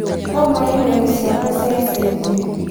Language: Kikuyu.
Thoma i-mīrū ciakwa cia ica ikuhĩ